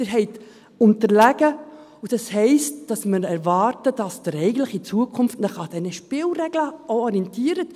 Sie sind unterlegen, und das heisst, dass wir erwarten, dass Sie sich in Zukunft an diesen Spielregeln orientieren.